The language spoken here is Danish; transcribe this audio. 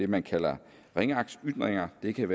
man kalder ringeagtsytringer det kan